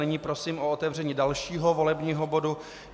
Nyní prosím o otevření dalšího volebního bodu.